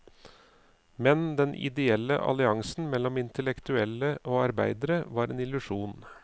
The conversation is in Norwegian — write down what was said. Men den ideelle alliansen mellom intellektuelle og arbeidere var en illusjon.